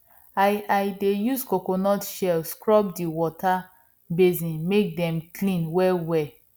i i dey use coconut shell scrub di water basin make dem clean wellwell